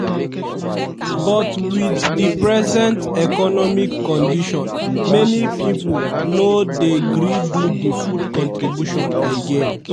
but wit di present economic condition many pipo no dey gree do di food contribution again.